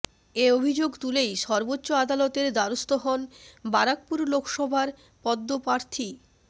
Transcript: এ অভিযোগ তুলেই সর্বোচ্চ আদালতের দ্বারস্থ হন বারাকপুর লোকসভার পদ্ম প্রার্থী